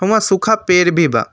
ऊंआं सुखा पेड़ भी बा।